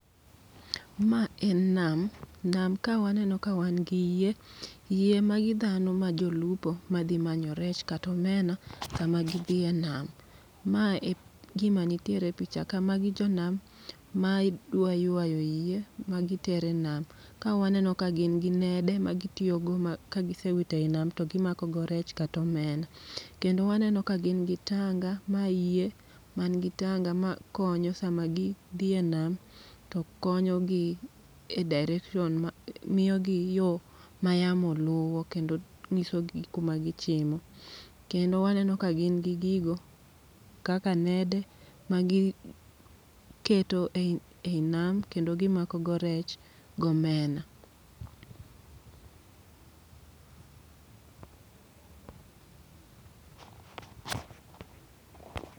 Ma en nam, nam ka waneno ka wan gi yie. Yie magi dhano ma jolupo madhi manyo rech katomena, kama gishiye nam. Ma e gima nitiere e picha ka, magi jo nam ma dwa ywa yie ma gitere nam. Ka waneno ka gin gi nede ma gitiyogo ma ka gisewito ei nam to gimakogo rech katomena. Kendo waneno ka gin gi tanga, ma yeie man gi tanga ma konyo sama gi dhiye nam. To konyogi e direction, ma miyogi yo ma yamo luwo kendo ng'iso gi kuma gichimo. Kendo waneno ka gin gi gigo kaka nede ma giketo ei nam kendo gimakogo rech gi omena.